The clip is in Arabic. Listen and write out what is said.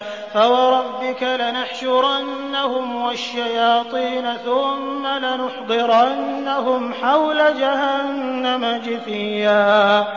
فَوَرَبِّكَ لَنَحْشُرَنَّهُمْ وَالشَّيَاطِينَ ثُمَّ لَنُحْضِرَنَّهُمْ حَوْلَ جَهَنَّمَ جِثِيًّا